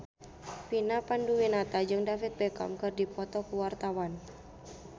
Vina Panduwinata jeung David Beckham keur dipoto ku wartawan